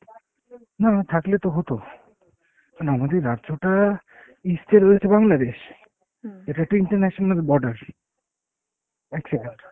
না থাকলে তো হতো, এখন আমাদের রাজ্যটা east এ রয়েছে Bangladesh। এটা একটা international border, এক second